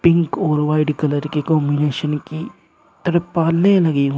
pink और white colour की combination की त्रिपालें लगी हुई--